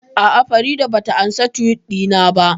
A'a, Farida ba ta ansa Tiwit ɗina ba